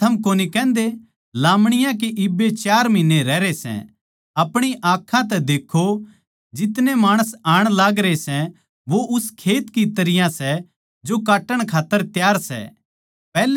के थम कोनी कहन्दे लामणीयां के इब्बे चार महीन्ने रहरे सै अपणी आँखां तै देक्खों जितने माणस आण लागरे सै वो उस खेत की तरियां सै जो काट्टण खात्तर तैयार सै